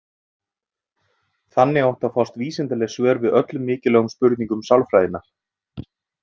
Þannig áttu að fást vísindaleg svör við öllum mikilvægum spurningum sálfræðinnar.